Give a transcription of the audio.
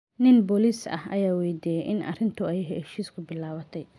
Nin booliis ah ayaa weydiiyey in ay arrintu heshiis ku bilaabatay?